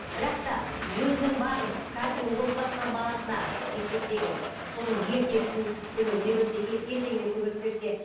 бірақ та өзінің бар қазіргі оқыватқан баласына мектептегі соның ертегісін көмегіне берсе ертеңіне көмек берсе